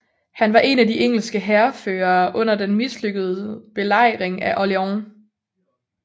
Han var en af de engelske hærførere under den mislykkede belejring af Orléans